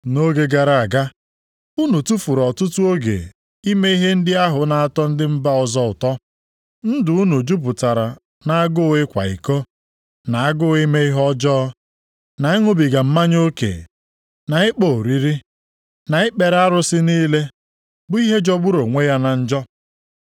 Nʼoge gara aga unu tufuru ọtụtụ oge ime ihe ndị ahụ na-atọ ndị mba ọzọ ụtọ. Ndụ unu jupụtara nʼagụụ ịkwa iko, na agụụ ime ihe ọjọọ, na ịṅụbiga mmanya oke, na ịkpọ oriri, na ikpere arụsị niile, bụ ihe jọgburu onwe ya na njọ.